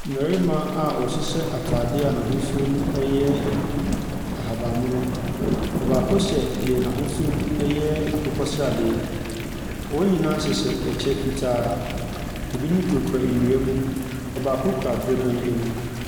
Mmarima a wɔhyehyɛ atadeɛ a n'ahosuono yɛ ahabammono. Ɔbaako hyɛ deɛ n'ahosuonoyɛ akokɔsradeɛ. Wɔn nyinaa hywhɛ ɛkyɛ fitaa. Ɛbinom kurakura nnua mu. Ɔbaako kura dorobɛn mu.